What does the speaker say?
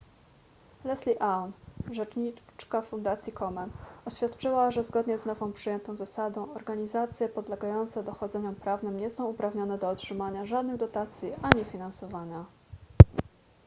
leslie aun rzecznika fundacji komen oświadczyła że zgodnie z nowo przyjętą zasadą organizacje podlegające dochodzeniom prawnym nie są uprawnione do otrzymania żadnych dotacji ani finansowania